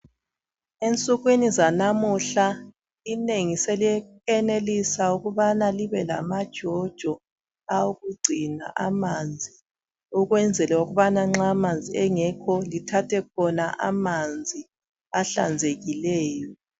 Ensukwini zanamuhla inengi selisenelisa ukuthi libe lamajojo awokugcina amanzi. Okwenzela ukubana nxa amanzi engekho bathathe khona amanzi ahlanzekileyo